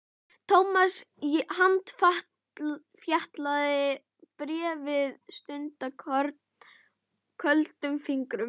Thomas handfjatlaði bréfið stundarkorn, köldum fingrum.